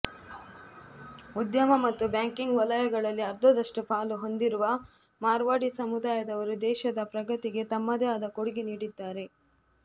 ಉದ್ಯಮ ಮತ್ತು ಬ್ಯಾಂಕಿಂಗ್ ವಲಯಗಳಲ್ಲಿ ಅರ್ಧದಷ್ಟು ಪಾಲು ಹೊಂದಿರುವ ಮಾರ್ವಾಡಿ ಸಮುದಾಯದವರು ದೇಶದ ಪ್ರಗತಿಗೆ ತಮ್ಮದೇ ಆದ ಕೊಡುಗೆ ನೀಡಿದ್ದಾರೆ